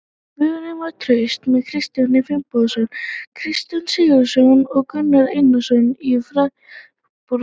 Vörnin var traust með Kristján Finnbogason, Kristján Sigurðsson og Gunnar Einarsson í fararbroddi.